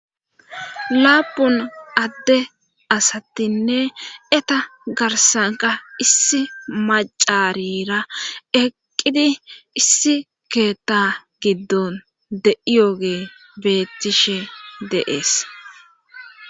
laapun adde asattinne eta garsanka issi macarira eqqidi issi keeta giddon de7iyoge beettishe deees